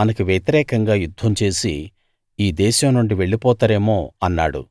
మనకి వ్యతిరేకంగా యుద్ధం చేసి ఈ దేశం నుండి వెళ్లిపోతారేమో అన్నాడు